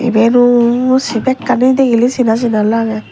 ibeno sey bekkani degiley sina sina lagey.